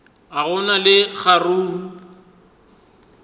ga go na le kgaruru